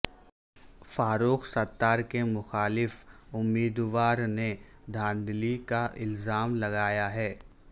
فاروق ستار کے مخالف امیدوار نے دھاندلی کا الزام لگایا ہے